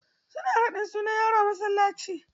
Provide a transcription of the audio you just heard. Su na raɗin sunan yaro a masallaci.